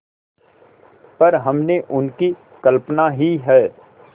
पर हमने उनकी कल्पना ही है